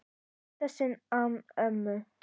Í fyrsta sinn án mömmu.